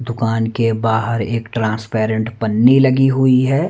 दुकान के बाहर एक ट्रांसपेरेंट पन्नी लगी हुईं हैं।